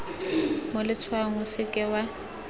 mo letshwaong o seke wa